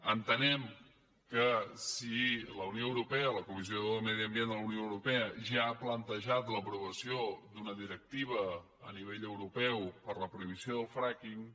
entenem que si la unió europea la comissió de medi ambient de la unió europea ja ha plantejat l’aprovació d’una directiva a nivell europeu per a la prohibició del fracking